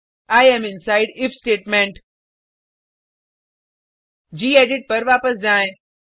I am inside if statement gedit पर वापस जाएँ